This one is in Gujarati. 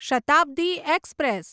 શતાબ્દી એક્સપ્રેસ